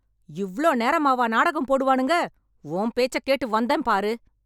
இவ்ளோ நேரமாவா நாடகம் போடுவானுங்க... உன் பேச்சக் கேட்டு வந்தேன் பாரு...